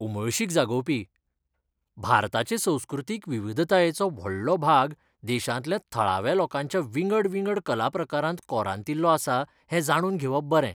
उमळशीक जागोवपी! भारताचे संस्कृतीक विविधतायेचो व्हडलो भाग देशांतल्या थळाव्या लोकांच्या विंगड विंगड कलाप्रकारांत कोरांतिल्लो आसा हें जाणून घेवप बरें.